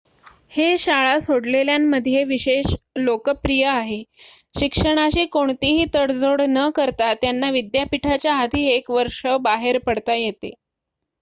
हे शाळा सोडलेल्यांमध्ये विशेष लोकप्रिय आहे शिक्षणाशी कोणतीही तडजोड न करता त्यांना विद्यापिठाच्या आधी एक वर्ष बाहेर पडता येते